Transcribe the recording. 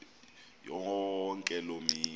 yonke loo mini